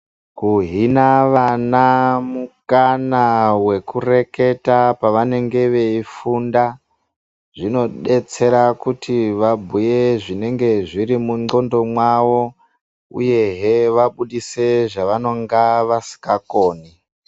Kuhina vana mukana vekureketa paunenge weifunda zvinodetsera kuti vabhuurwe zvinenge zviri mungonxo mawo uyehe vakwanisa zvavasingakoni.